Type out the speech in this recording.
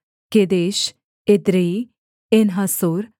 Kedesh Edrei Enhazor